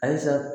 Ayisa